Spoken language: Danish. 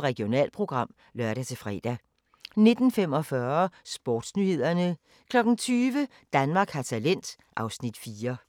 Regionalprogram (lør-fre) 19:45: Sportsnyhederne 20:00: Danmark har talent (Afs. 4)